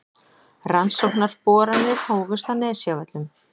Rannsóknarboranir hófust á Nesjavöllum